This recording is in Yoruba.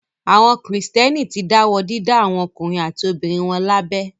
Àwọn Kìrìtẹ́ẹ́nì ti dáwọ́ dídá àwọn ọkùnrin àti obìnrin wọn lábẹ.